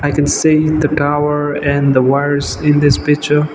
i can see the tower and the wires in this picture.